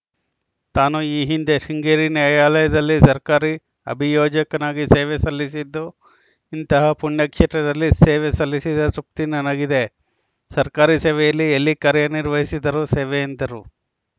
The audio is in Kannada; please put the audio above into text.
ತಾನು ಈ ಹಿಂದೆ ಶೃಂಗೇರಿ ನ್ಯಾಯಾಲಯದಲ್ಲಿ ಸರ್ಕಾರಿ ಅಭಿಯೋಜಕನಾಗಿ ಸೇವೆ ಸಲ್ಲಿಸಿದ್ದುಇಂತಹ ಪುಣ್ಯ ಕ್ಷೇತ್ರದಲ್ಲಿ ಸೇವೆ ಸಲ್ಲಿಸಿದ ತೃಪ್ತಿ ನನಗಿದೆಸರ್ಕಾರಿ ಸೇವೆಯಲ್ಲಿ ಎಲ್ಲಿ ಕಾರ್ಯನಿರ್ವಹಿಸಿದರೂ ಸೇವೆ ಎಂದರು